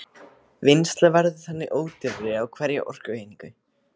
Vinnsla verður þannig ódýrari á hverja orkueiningu.